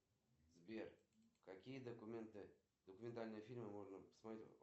салют какие виды фильмографии дональда трампа ты знаешь